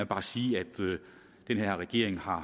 bare sige at den her regering